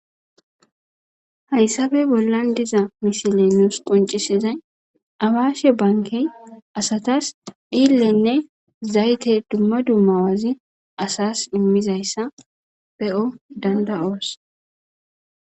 Hayssappe bollan diza misiley nuus qonccisizay awashe bankke asatas dhiillenne zaytte dumma dumma bazi asas iimizayssa be'o dandayos